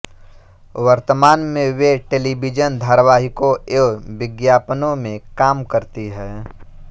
वर्तमान में वे टेलिविज़न धारावाहिकों एवं विज्ञापनों में काम करती हैं